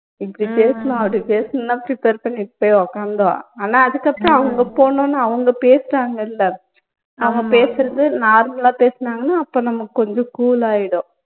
இப்படி பேசனும் அப்படி பேசனும்னுலாம் prepare பண்ணி வச்சுட்டு உக்காந்தோம் ஆனா அதுக்கு அப்பறம் அவங்க போனோனே அவங்க பேசுறாங்கல்ல அவங்க பேசுறது normal ஆ பேசுனாங்கன்னா அப்போ நமக்கு கொஞ்சம் cool ஆயிடும்